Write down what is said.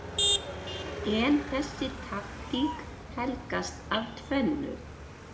En þessi taktík helgast af tvennu